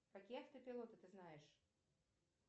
какие автопилоты ты знаешь